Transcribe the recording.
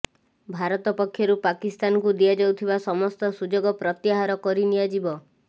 ଭାରତ ପକ୍ଷରୁ ପାକିସ୍ତାନକୁ ଦିଆଯାଉଥିବା ସମସ୍ତ ସୁଯୋଗ ପ୍ରତ୍ୟାହାର କରିନିଆଯିବ